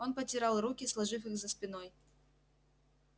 он потирал руки сложив их за спиной